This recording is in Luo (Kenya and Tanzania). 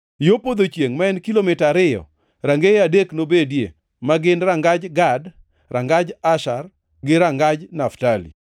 Yo podho chiengʼ ma en kilomita ariyo, rangeye adek nobedie, ma gin: rangaj Gad, rangaj Asher, gi rangaj Naftali.